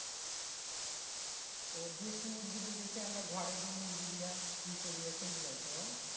আহ দেশি মুরগী বলতে আমরা ঘরে যে মুরগী গুলা ইয়ে করি সেই গুলাই তো?